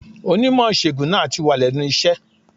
Onímò ìṣègùn náà tì wà lénu iṣé